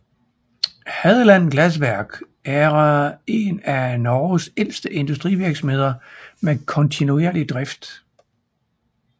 Hadeland Glassverk eren af Norges ældste industrivirksomhed med kontinuerlig drift